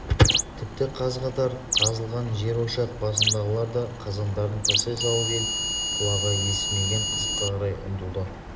тіпті қаз-қатар қазылған жерошақ басындағылар да қазандарын тастай салып ел құлағы естімеген қызыққа қарай ұмтылды